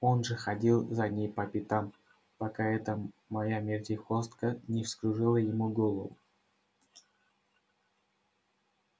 он же ходил за ней по пятам пока эта моя вертихвостка не вскружила ему голову